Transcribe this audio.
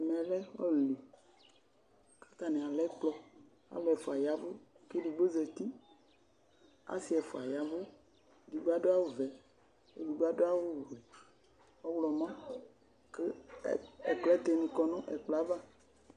ɛmɛ lɛ Hall li kʋ atani alɛ ɛkplɔ kʋ alʋ ɛƒʋa yavʋ kʋ ɛdigbɔ zati, asii ɛƒʋa yavʋ, ɛdigbɔ adʋ awʋ vɛ kʋ ɛdigbɔ adʋ awʋ ɔwlɔmɔ kʋ aklatɛ ni kɔnʋ ɛkplɔɛ aɣa